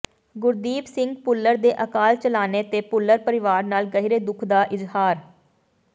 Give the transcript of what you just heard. ਗੁਰਦੀਪ ਸਿੰਘ ਭੁੱਲਰ ਦੇ ਅਕਾਲ ਚਲਾਣੇ ਤੇ ਭੁੱਲਰ ਪਰਿਵਾਰ ਨਾਲ ਗਹਿਰੇ ਦੁਖ ਦਾ ਇਜਹਾਰ